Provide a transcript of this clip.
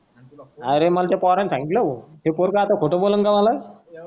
अरे मला त्या पोरनी सांगितल हो. ते पोरग आता खोट बोलेल का मला.